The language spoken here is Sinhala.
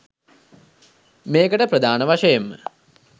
මේකට ප්‍රධාන වශයෙන්ම